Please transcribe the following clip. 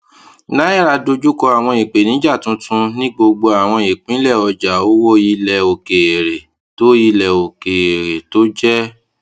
naira dojú kọ àwọn ìpèníjà tuntun ní gbogbo àwọn ìpínlẹ ọjà owó ilẹ òkèèrè tó ilẹ òkèèrè tó jẹ